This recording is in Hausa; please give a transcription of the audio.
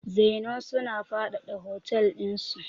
Zennoor suna faɗaɗa hotel dinsu.